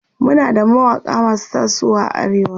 Muna da mawaƙa masu tasowa a arewa